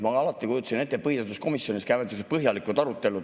Ma alati kujutasin ette, et põhiseaduskomisjonis käivad sihukesed põhjalikud arutelud.